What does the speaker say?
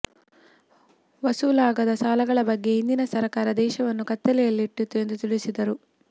ವಸೂಲಾಗದ ಸಾಲಗಳ ಬಗ್ಗೆ ಹಿಂದಿನ ಸರಕಾರ ದೇಶವನ್ನು ಕತ್ತಲೆಯಲ್ಲಿಟ್ಟಿತ್ತು ಎಂದು ತಿಳಿಸಿದರು